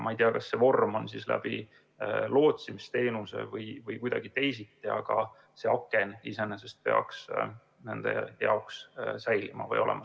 Ma ei tea, kas see võiks olla lootsimisteenuse kaudu või kuidagi teisiti, aga see aken iseenesest peaks nende jaoks olemas olema.